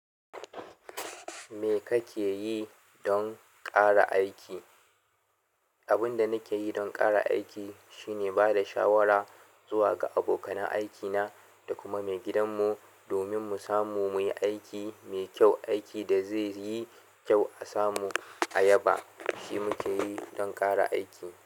Me kake yi don ƙara aiki? Abin da nake yi don ƙara aiki shine ba da shawara zuwa ga abokan aikina da kuma maigidanmu domin mu samu muyi aiki mai kyau, aiki da zaiyi kyau a samu a yaba. Shi muke yi don ƙara aiki.